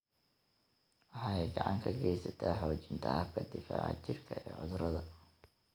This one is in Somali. Waxay gacan ka geysataa xoojinta habka difaaca jirka ee cudurrada.